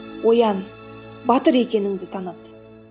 оян батыр екеніңді таныт